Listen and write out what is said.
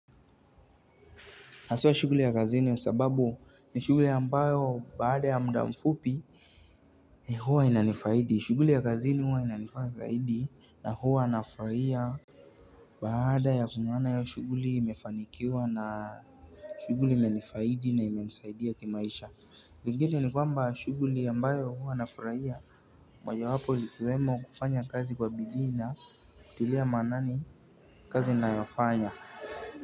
Haswa shughuli ya kazini ya sababu ni shughuli ambayo baada ya muda mfupi huwa inanifaidi, shughuli ya kazini huwa inanifaa zaidi na huwa nafurahia baada ya kuiona hiyo shughuli imefanikiwa na shughuli imenifaidi na ime nisaidia kimaisha lingine ni kwamba shughuli ambayo huwa nafurahia moja wapo likiwemo kufanya kazi kwa bidii na, kutilia maanani kazi ninayofanya.